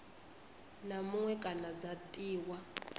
na muṅwe kana dza tiwa